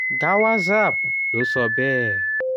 gawaxab ló sọ bẹ́ẹ̀.